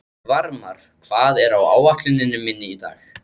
Varmar, hvað er á áætluninni minni í dag?